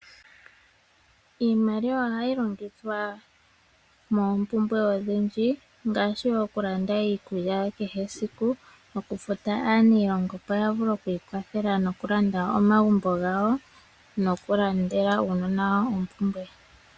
Iimaliwa ohayi longithwa moompumbwe odhindji ngaashi oku landa iikulya ya kehe esiku, oku futa aaniilonga opo ya vule oku ikwathela noku landa omagumbo gawo ,nosho woo oku landele uunona wayo oompumbwe.